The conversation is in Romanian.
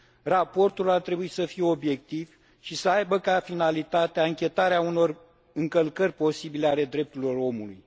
Raportul ar trebui să fie obiectiv și să aibă ca finalitate anchetarea unor încălcări posibile ale drepturilor omului.